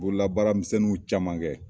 Bolabaaramisɛnninw caman kɛ.